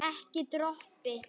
Ekki dropi.